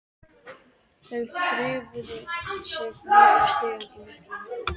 Þau þreifuðu sig niður stigann í myrkrinu.